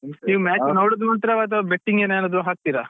ನೀವ್ match ನೋಡುದು ಮಾತ್ರವಾ ಅಥವಾ betting ಏನಾದ್ರು ಹಾಕ್ತಿರಾ?